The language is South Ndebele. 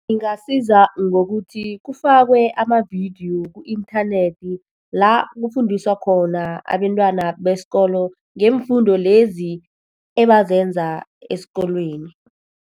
Ingasiza ngokuthi kufakwe amavidiyo ku-inthanethi la kufundiswa khona abentwana besikolo ngeemfundo lezi ebazenza esikolweni.